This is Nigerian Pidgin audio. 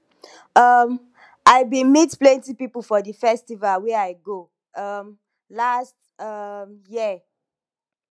um i bin meet plenty pipo for di festival wey i go um last um year